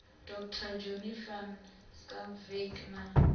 dr johnny van schalkwyk na